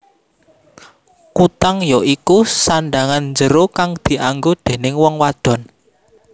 Kutang ya iku sandhangan njero kang dianggo déning wong wadon